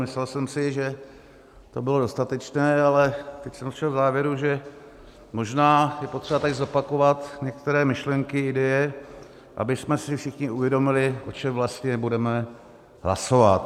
Myslel jsem si, že to bylo dostatečné, ale teď jsem došel k závěru, že možná je potřeba tady zopakovat některé myšlenky, ideje, abychom si všichni uvědomili, o čem vlastně budeme hlasovat.